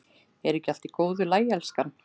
Er ekki allt í góðu lagi, elskan?